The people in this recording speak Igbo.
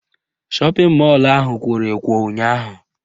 Shọpịn mọlụ ahụ kworo ekwo ụnyaahụ